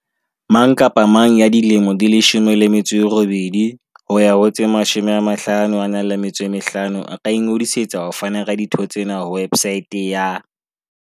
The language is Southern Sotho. Mang kapa mang ya dilemo di 18 ho ya ho tse 55 a ka ingodisetsa ho fana ka ditho tsena ho websaete ya